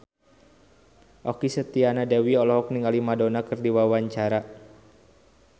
Okky Setiana Dewi olohok ningali Madonna keur diwawancara